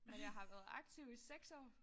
Men jeg har været aktiv i 6 år